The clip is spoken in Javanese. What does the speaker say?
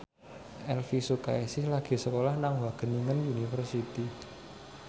Elvy Sukaesih lagi sekolah nang Wageningen University